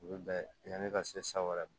U bɛ bɛn yanni ka se san wɛrɛ ma